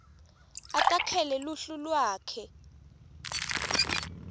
atakhele luhlu lwakhe